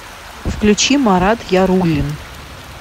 включи марат яруллин